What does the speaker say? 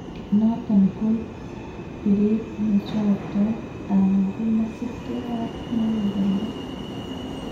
Noton koib bireet nechoktoo alakomasibikee ab muguleldo